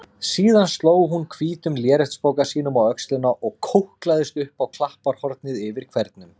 Síðan sló hún hvítum léreftspoka sínum á öxlina og kóklaðist upp á klapparhornið yfir hvernum.